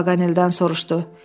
Robert Paqanelldən soruşdu.